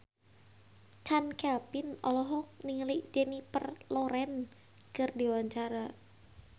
Chand Kelvin olohok ningali Jennifer Lawrence keur diwawancara